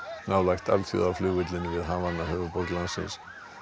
nálægt alþjóðaflugvellinum við Havana höfuðborg landsins